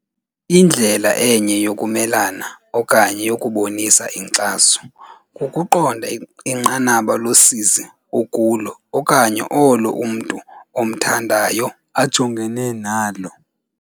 "Indlela enye yokumelana okanye yokubonisa inkxaso kukuqonda inqanaba losizi okulo okanye olo umntu omthandayo ajongene nalo."